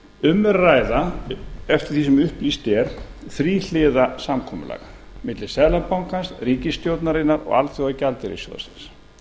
um er að ræða eftir því sem upplýst er þríhliða samkomulag milli seðlabankans ríkisstjórnarinnar og alþjóðagjaldeyrissjóðsins